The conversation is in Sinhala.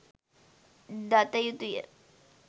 දත යුතුය.